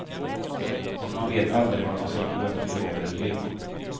Och man vet aldrig var man ska gå efter blåbär eller lingon.